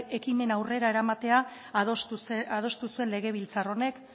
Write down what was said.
ekimen aurrera eramatea adostu zuen legebiltzar honek